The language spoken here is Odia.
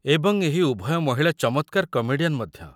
ଏବଂ ଏହି ଉଭୟ ମହିଳା ଚମତ୍କାର କମେଡ଼ିଆନ୍ ମଧ୍ୟ।